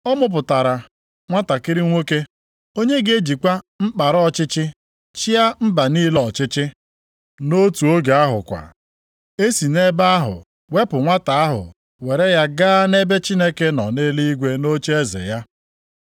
Ọ mụpụtara nwantakịrị nwoke, “onye ga-ejikwa mkpara ọchịchị chịa mba niile ọchịchị.” + 12:5 \+xt Abụ 2:9\+xt* Nʼotu oge ahụ kwa, e si nʼebe ahụ wepụ nwata ahụ were ya gaa nʼebe Chineke nọ nʼeluigwe nʼocheeze ya.